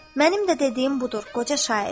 Mənim də dediyim budur qoca şair.